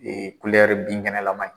Ee kulɛri binkɛnɛlama